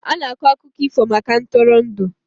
a na-akọ akụkọ ifo maka ntụrụndụ